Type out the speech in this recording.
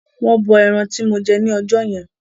Wọ́n bọ ẹran tí mo jẹ ni ọjọ́ yẹn.